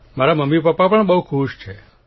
મારા મમ્મીપપ્પા પણ ખૂબ ખુશ છે